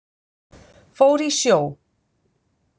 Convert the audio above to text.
Fór í sjó.